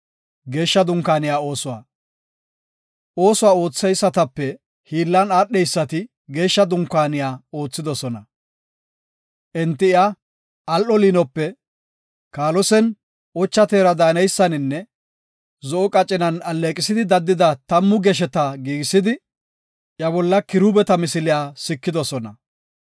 Oosuwa ootheysatape hiillan aadheysati Geeshsha Dunkaaniya oothidosona. Enti iya al7o liinope, kaalosen ocha teera daaneysaninne zo7o qacinan alleeqisidi daddida tammu gesheta giigisidi, iya bolla kiruubeta misiliya sikidosona.